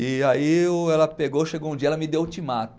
E aí o ela pegou, chegou um dia, ela me deu o ultimato.